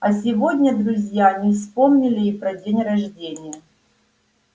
а сегодня друзья не вспомнили и про день рождения